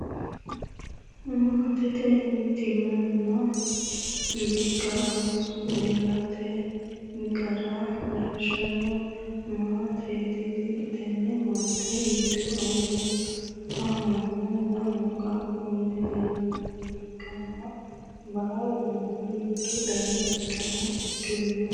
Maatete mittimmanna bikkine ooso ilate gara leellishshanno maateti tini. Tenne maate giddo annu, amanna lamu qaaqquulli leellannoha ikkanna baalunku mittu dani uddano uddirino.